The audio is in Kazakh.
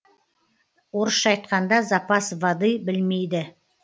орысша айтқанда запас воды білмейді